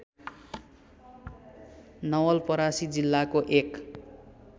नवलपरासी जिल्लाको एक